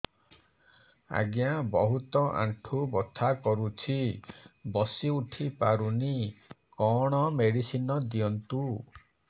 ଆଜ୍ଞା ବହୁତ ଆଣ୍ଠୁ ବଥା କରୁଛି ବସି ଉଠି ପାରୁନି କଣ ମେଡ଼ିସିନ ଦିଅନ୍ତୁ